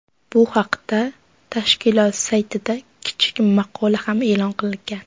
Bu haqda tashkilot saytida kichik maqola ham e’lon qilgan .